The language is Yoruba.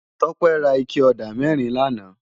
Tope rá iké ódá mèrín làná